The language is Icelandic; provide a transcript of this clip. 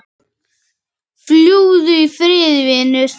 Fljúgðu í friði vinur.